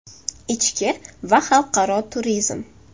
Ichki va xalqaro turizm.